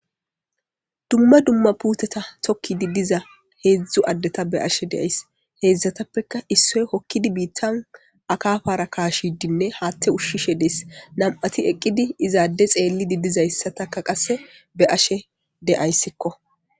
Dumma dumma puuthetha thokkiiddi diza heezzu addetha be7ashe de7ays;heezzathappekka issoy hokkidi biiththan akaafaara kaashiiddinne haaththe ushshishe des;nam7athi eqqidi iza adde xeellidi dizayssathakka qassi be7ashee de7aysikoo.